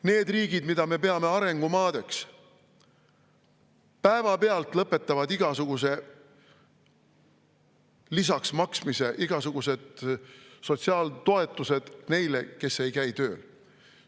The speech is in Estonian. Need riigid, mida me peame arengumaadeks, päevapealt lõpetavad igasuguse lisaks maksmise, igasugused sotsiaaltoetused neile, kes ei käi tööl.